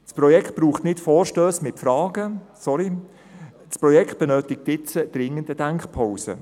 Das Projekt braucht keine Vorstösse mit Fragen, sondern es benötigt dringend eine Denkpause.